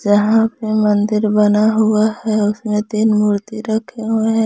यहां पे मंदिर बना हुआ है उसमें तीन मूर्ति रखे हुए हैं।